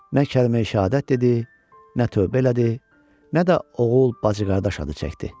Nə kəlməyi-şəhadət dedi, nə tövbə elədi, nə də oğul, bacı-qardaş adı çəkdi.